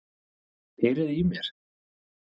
Heyriði í mér?